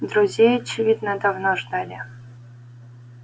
друзей очевидно давно ждали